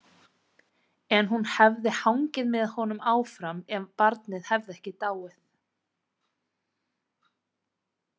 En hún hefði hangið með honum áfram ef barnið hefði ekki dáið.